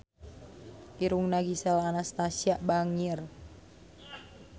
Irungna Gisel Anastasia bangir